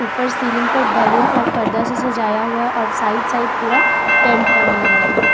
उपर सीलिंग पर बैलून और पर्दा से सजाया हुआ है और साइड साइड पूरा टेंट वाला लगा हुआ है।